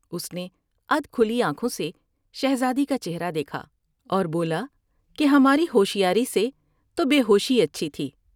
اس نے ادھ کھلی آنکھوں سے شہزادی کا چہرہ دیکھا اور بولا کہ ہماری ہوشیاری سے تو بے ہوشی اچھی تھی ۔